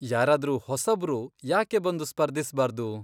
ಯಾರಾದ್ರೂ ಹೊಸಬ್ರು ಯಾಕೆ ಬಂದು ಸ್ಪರ್ಧಿಸ್ಬಾರ್ದು?